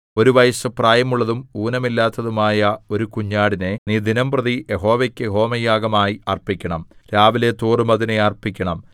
ഒരു വയസ്സു പ്രായമുള്ളതും ഊനമില്ലാത്തതുമായ ഒരു കുഞ്ഞാടിനെ നീ ദിനംപ്രതി യഹോവയ്ക്കു ഹോമയാഗമായി അർപ്പിക്കണം രാവിലെതോറും അതിനെ അർപ്പിക്കണം